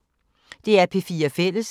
DR P4 Fælles